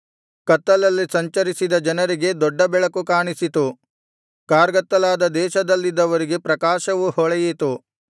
ಕತ್ತಲಲ್ಲಿ ಸಂಚರಿಸಿದ ಜನರಿಗೆ ದೊಡ್ಡ ಬೆಳಕು ಕಾಣಿಸಿತು ಕಾರ್ಗತ್ತಲಾದ ದೇಶದಲ್ಲಿದ್ದವರಿಗೆ ಪ್ರಕಾಶವು ಹೊಳೆಯಿತು